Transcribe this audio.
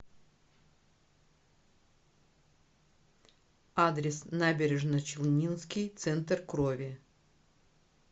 адрес набережночелнинский центр крови